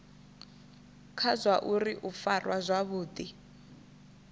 kha zwauri u farwa zwavhudi